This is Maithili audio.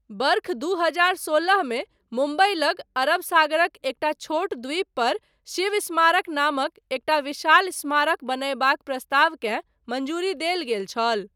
वर्ष दू हजार सोलहमे मुम्बइ लग, अरब सागरक एकटा छोट द्वीपपर, शिव स्मारक नामक, एकटा विशाल स्मारक बनयबाक प्रस्तावकेँ, मञ्जूरी देल गेल छल।